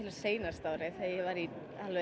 á síðasta ári þegar ég var í